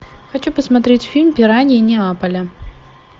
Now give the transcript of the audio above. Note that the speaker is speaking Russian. хочу посмотреть фильм пираньи неаполя